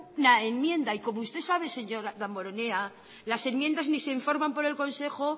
una enmienda y como usted sabe señor damborenea las enmiendas ni se informan por el consejo